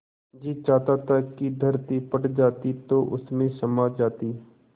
जी चाहता था कि धरती फट जाती तो उसमें समा जाती